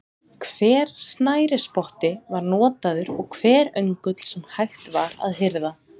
Hver snærisspotti var notaður og hver öngull sem hægt var að hirða.